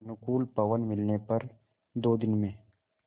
अनुकूल पवन मिलने पर दो दिन में